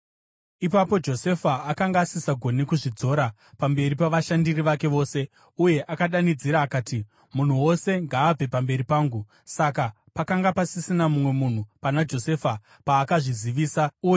Ipapo Josefa akanga asisagoni kuzvidzora pamberi pavashandiri vake vose, uye akadanidzira akati, “Munhu wose ngaabve pamberi pangu!” Saka pakanga pasisina mumwe munhu pana Josefa paakazvizivisa kuhama dzake.